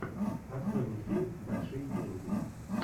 открой мне фильм большие деньги